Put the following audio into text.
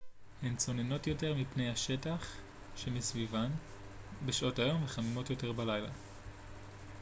הן צוננות יותר מפני השטח שמסביבן בשעות היום וחמימות יותר בלילה